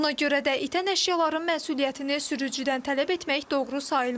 Buna görə də itən əşyaların məsuliyyətini sürücüdən tələb etmək doğru sayılmır.